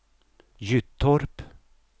Gyttorp